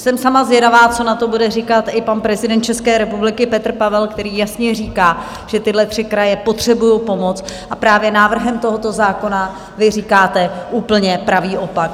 Jsem sama zvědavá, co na to bude říkat i pan prezident České republiky Petr Pavel, který jasně říká, že tyhle tři kraje potřebují pomoc, a právě návrhem tohoto zákona vy říkáte úplně pravý opak.